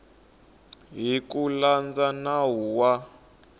hi ku landza nawu wa